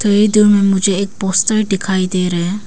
दूर में मुझे एक पोस्टर दिखाई दे रहा है।